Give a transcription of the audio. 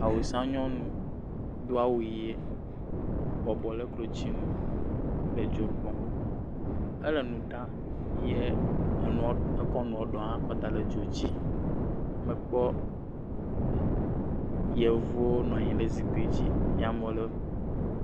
Awusa nyɔnu do awu ye, bɔbɔ le klotsinu, le dzo gbɔm, ele nu ɖa ye enuɔ, ekɔ nuɔ ɖewo hã kɔ da le zikpui dzi, mekpɔ yevuwo nɔ anyi ɖe zikpui dzi, ye amewo le…